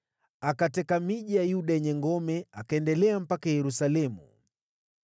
Akateka miji ya Yuda yenye ngome akaendelea mpaka Yerusalemu.